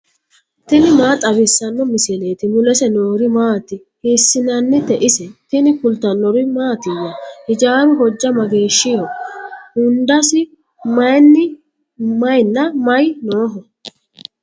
tini maa xawissanno misileeti ? mulese noori maati ? hiissinannite ise ? tini kultannori mattiya? Hijjaru hojja mageeshshiho? hundassi mayiinna may nooho?